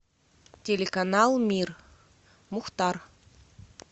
телеканал мир мухтар